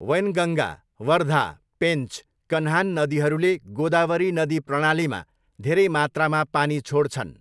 वैनगङ्गा, वर्धा, पेन्च, कन्हान नदीहरूले गोदावरी नदी प्रणालीमा धेरै मात्रामा पानी छोड्छन्।